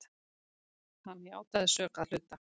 Hann játaði sök að hluta.